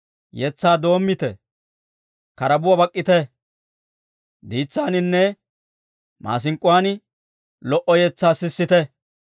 Yetsaa doommite; karabuwaa bak'k'ite; diitsaaninne maasink'k'uwaan lo"a yetsaa sissite.